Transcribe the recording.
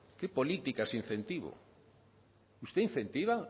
política qué política es usted incentiva